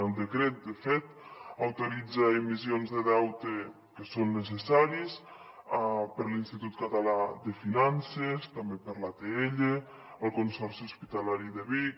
el decret de fet autoritza emissions de deutes que són necessaris per a l’institut català de finances també per a l’atll el consorci hospitalari de vic